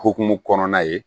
Hokumu kɔnɔna ye